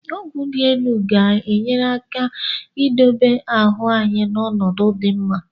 Ọgwụ dị elu ga-enyere aka idobe ahụ anyị n'ọnọdụ dị mma.